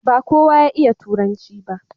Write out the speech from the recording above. ba kowa ya iya turanci ba